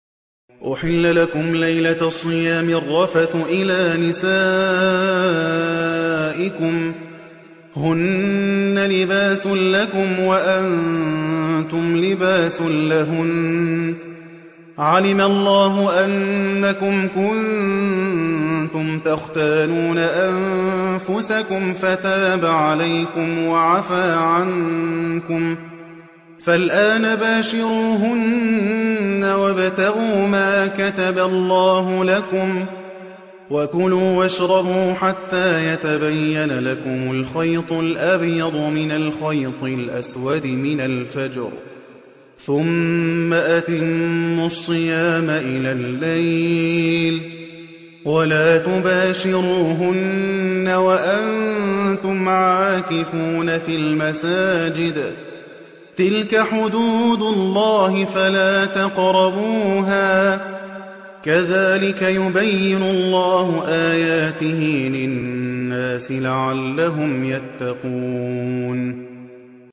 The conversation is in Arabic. أُحِلَّ لَكُمْ لَيْلَةَ الصِّيَامِ الرَّفَثُ إِلَىٰ نِسَائِكُمْ ۚ هُنَّ لِبَاسٌ لَّكُمْ وَأَنتُمْ لِبَاسٌ لَّهُنَّ ۗ عَلِمَ اللَّهُ أَنَّكُمْ كُنتُمْ تَخْتَانُونَ أَنفُسَكُمْ فَتَابَ عَلَيْكُمْ وَعَفَا عَنكُمْ ۖ فَالْآنَ بَاشِرُوهُنَّ وَابْتَغُوا مَا كَتَبَ اللَّهُ لَكُمْ ۚ وَكُلُوا وَاشْرَبُوا حَتَّىٰ يَتَبَيَّنَ لَكُمُ الْخَيْطُ الْأَبْيَضُ مِنَ الْخَيْطِ الْأَسْوَدِ مِنَ الْفَجْرِ ۖ ثُمَّ أَتِمُّوا الصِّيَامَ إِلَى اللَّيْلِ ۚ وَلَا تُبَاشِرُوهُنَّ وَأَنتُمْ عَاكِفُونَ فِي الْمَسَاجِدِ ۗ تِلْكَ حُدُودُ اللَّهِ فَلَا تَقْرَبُوهَا ۗ كَذَٰلِكَ يُبَيِّنُ اللَّهُ آيَاتِهِ لِلنَّاسِ لَعَلَّهُمْ يَتَّقُونَ